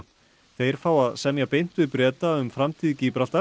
þeir fá að semja beint við Breta um framtíð